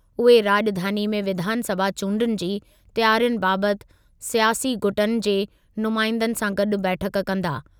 उहे राॼधानी में विधानसभा चूंडुनि जी तयारियुनि बाबति स्यासी गुटनि जे नुमाइंदनि सां गॾु बैठकु कंदा।